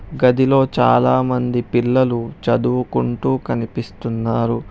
గదిలో చాలా మంది పిల్లలు చదువుకుంటూ కనిపిస్తున్నారు.